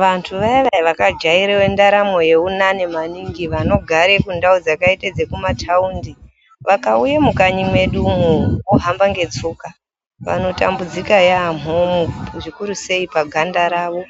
Vantu vaya vaya vakajaira ndaramo yeunani maningi vanogare kundau dzakaite dzekumathaundi vakauye mukanyi mwedu umwo vakahamba ngetsoka vanotambudzika yaamho zvikurusei paganda rawo